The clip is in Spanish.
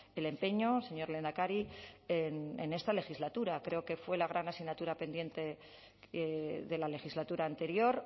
el empeño señor lehendakari en esta legislatura creo que fue la gran asignatura pendiente de la legislatura anterior